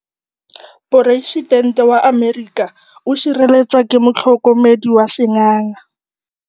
Poresitêntê wa Amerika o sireletswa ke motlhokomedi wa sengaga.